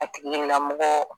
A tigila mɔgɔ